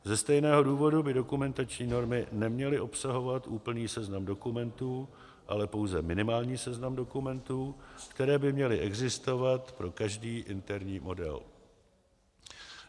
Ze stejného důvodu by dokumentační normy neměly obsahovat úplný seznam dokumentů, ale pouze minimální seznam dokumentů, které by měly existovat pro každý interní model.